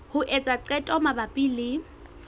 ho etsa qeto mabapi le